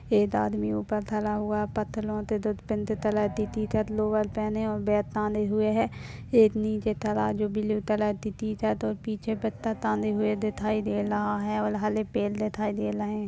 एक आदमी ऊपर खड़ा हुआ पतलून के दूध पिंड तलती थी कर लो बाल पहनेऔर वेतन आने हुए हैं एक नीचे तराजू ब्लू चलती थी रातऔर पीछे बात टंगे हुए दिखाई दे रहा हैऔर हले पेल दिखाई देता रहे --